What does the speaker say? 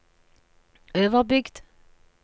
Øverbygd